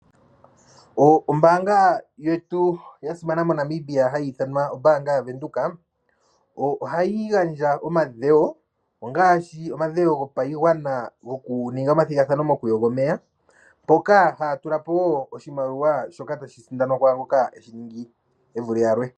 Ombanga yetu yasimana moNamibia hayithanwa ombanga ya venduka, ohayingandja omadhewo ongashi omadhewo gopayingwana ngokuninga omathingathano mokuyonga omeya mpoka hayatulapo wo oshimaliwa shoka tashisindanwa kwangoka eshiningi evule yalwe.